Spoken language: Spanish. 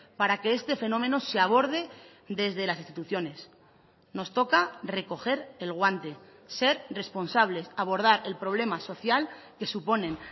para que este fenómeno se aborde desde las instituciones nos toca recoger el guante ser responsables abordar el problema social que suponen